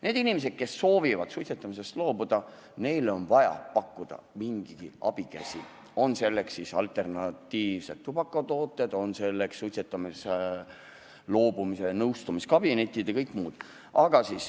Neile inimestele, kes soovivad suitsetamisest loobuda, on vaja pakkuda mingigi abikäsi, on selleks siis alternatiivsed tubakatooted, suitsetamisest loobumise nõustamiskabinetid või kõik muud asjad.